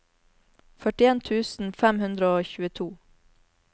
førtien tusen fem hundre og tjueto